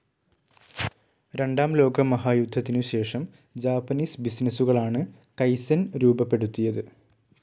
രണ്ടാം ലോകമഹായുദ്ധത്തിനുശേഷം ജാപ്പനീസ് ബിസിനസ്സുകളാണ് കൈസ്സെൻ രൂപപ്പെടുത്തിയത്.